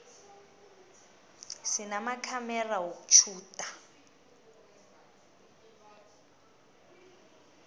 sinamakhamera wokutjhuda